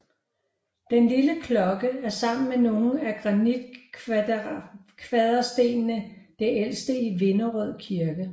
Den lille klokke er sammen med nogle af granitkvaderstenene det ældste i Vinderød Kirke